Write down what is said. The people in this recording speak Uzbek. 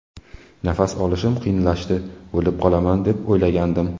Nafas olishim qiyinlashdi, o‘lib qolaman deb o‘ylagandim.